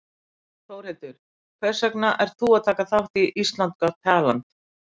Þórhildur: Hvers vegna ert þú að taka þátt í Ísland got talent?